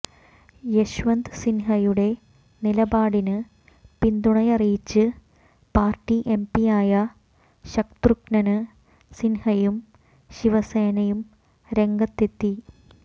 യശ്വന്ത് സിന്ഹയുടെ നിലപാടിന് പിന്തുണയറിയിച്ച് പാര്ട്ടി എംപിയായ ശത്രുഘ്നന് സിന്ഹയും ശിവസേനയും രംഗത്ത് എത്തി